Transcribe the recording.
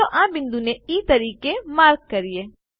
ચાલો આ બિંદુને ઇ તરીકે માર્ક કરીએ